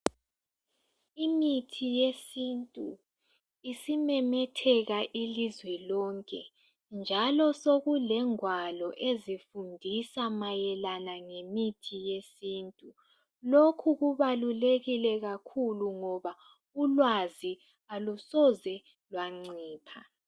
Imithi yesintu isimemetheka ilizwe lonke njalo sokulengwalo ezifundisa mayelana ngemithi yesintu. Lokhu kubalulekile kakhulu ngoba ulwazi alusoze lwancipha.